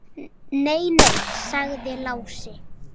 Nei, nei, sagði Lási.